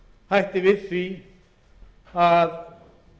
hætti við því að